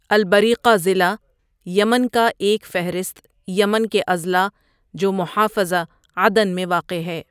البریقہ ضلع یمن کا ایک فہرست یمن کے اضلاع جو محافظہ عدن میں واقع ہے۔